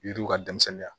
Yiriw ka denmisɛnninya